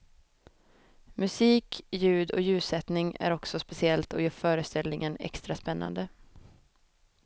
Musik, ljud och ljussättning är också speciellt och gör föreställningen extra spännande.